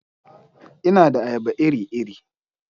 Ina da ayaba iri-iri.